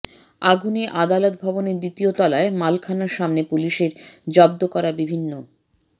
আগুনে আদালত ভবনের দ্বিতীয় তলায় মালখানার সামনে পুলিশের জব্দ করা বিভিন্ন